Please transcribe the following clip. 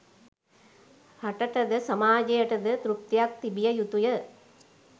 රටට ද සමාජයට ද තෘප්තියක් තිබිය යුතුය.